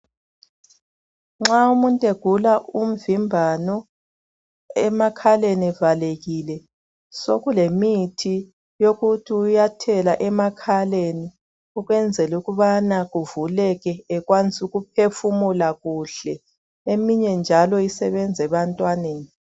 Nxa umuntu egula umvimbano evaleke amakhala sokulemithi yokuthela emakhaleni ukuze avuleke enelise ukuphefumula kuhle. Eminye njalo isebenza ebantwaneni.